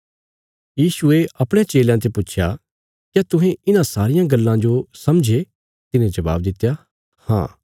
यीशुये अपणयां चेलयां ते पुच्छया क्या तुहें इन्हां सारियां गल्लां जो समझे तिन्हे जबाब दित्या हाँ